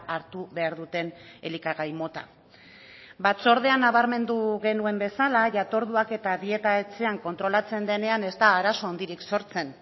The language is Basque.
hartu behar duten elikagai mota batzordean nabarmendu genuen bezala jatorduak eta dieta etxean kontrolatzen denean ez da arazo handirik sortzen